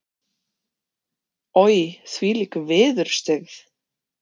Oj, þvílík viðurstyggð.